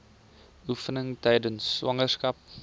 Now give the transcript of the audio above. oefeninge tydens swangerskap